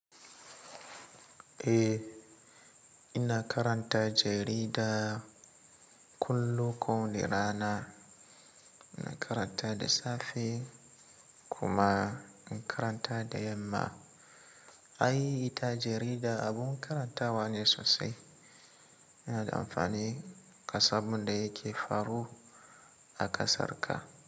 Eh, ina karanta jarida kullum, kowane rana. Ina karanta da safe kuma in karanta da yamma. Ai, ita jarida abun karantawa ne sosai. Yana da amfani kasan abun yake faru a ƙasarka.